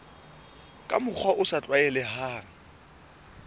ka mokgwa o sa tlwaelehang